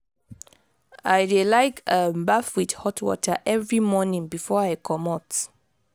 i dey like um baff wit hot water every morning before i comot.